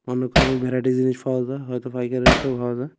অনেক রকম ভ্যারাইটি জিনিস পাওয়া যায় হয়তো পাইকারি রেটেও পাওয়া যায়।